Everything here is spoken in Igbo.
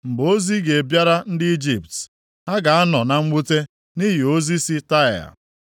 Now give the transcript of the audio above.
Mgbe ozi ga-abịara ndị Ijipt, ha ga-anọ na mwute nʼihi ozi si Taịa.